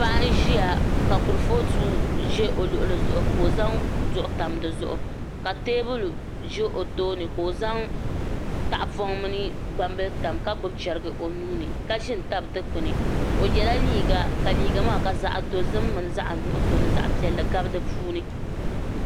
Paɣa n ʒiya ka kurifooti ʒɛ o luɣuli zuɣu ka o zaŋ duɣu tam dizuɣu ka teebuli ʒɛ o tooni ka o zaŋ tahapoŋ mini gbambili tam ka gbubi chɛriga o nuuni ka ʒi n tabi Dikpuni o yɛla liiga ka liiga maa ka zaɣ dozim mini zaɣ nuɣso ni zaɣ piɛlli gabi di puuni